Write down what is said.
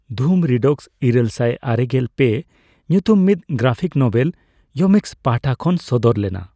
ᱫᱷᱩᱢ ᱺᱨᱤᱰᱚᱠᱥ ᱤᱨᱟᱹᱞᱥᱟᱭ ᱟᱨᱮᱜᱮᱞ ᱯᱮ ᱧᱩᱛᱩᱢ ᱢᱤᱫ ᱜᱨᱟᱯᱷᱤᱠ ᱱᱳᱵᱮᱞ ᱭᱳᱢᱤᱠᱥ ᱯᱟᱦᱴᱟ ᱠᱷᱚᱱ ᱥᱚᱫᱚᱨ ᱞᱮᱱᱟ ᱾